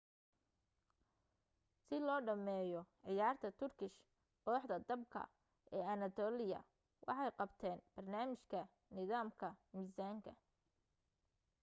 si loo dhameeyoo ciyaarta turkish kooxda dabka ee anatolia waxay qabteen barnaamijka nidaamka misaanka